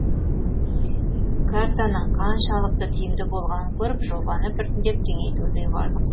картаның қаншалықты тиімді болғанын көріп жобаны біртіндеп кеңейтуді ұйғардық